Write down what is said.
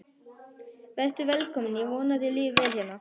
Vertu velkomin, ég vona að þér líði vel hérna.